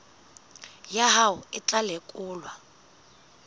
ya hao e tla lekolwa